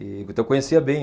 E então eu conhecia bem.